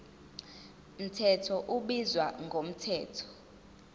mthetho ubizwa ngomthetho